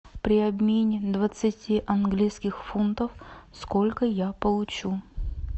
при обмене двадцати английских фунтов сколько я получу